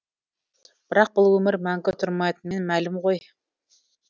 бірақ бұл өмір мәңгі тұрмайтынымен мәлім ғой